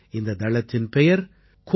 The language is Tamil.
இந்த தளத்தின் பெயர் covidwarriors